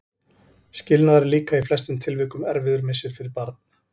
Skilnaður er líka í flestum tilvikum erfiður missir fyrir barn.